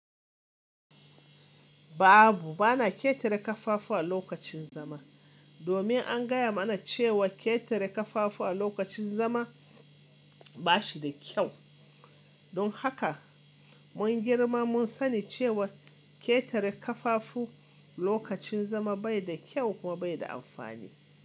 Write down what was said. Babu, bana ƙetare ƙafafu a lokacin zama. Domin an gaya mana cewa ƙetare ƙafafu a lokacin zama ba shi da kyau. Don haka mun girma mun sani cewa ƙetare ƙafafu lokacin zama bai da kyau kuma bai da amfani.